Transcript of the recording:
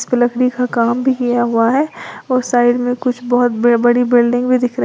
लकड़ी का काम भी किया हुआ है और साइड में कुछ बहुत बड़ी बिल्डिंग भी दिख रही--